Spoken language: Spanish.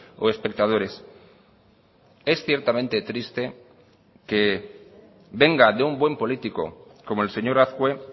o espectadores es ciertamente triste que venga de un buen político como el señor azkue